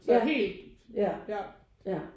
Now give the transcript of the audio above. Ja ja ja